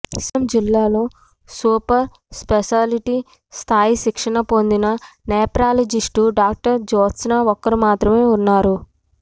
శ్రీకాకుళం జిల్లాలో super speciality స్థాయి శిక్షణ పొందిన నెఫ్రాలజిస్టు డాక్టర్ జ్యోత్స్న ఒక్కరు మాత్రమే ఉన్నారు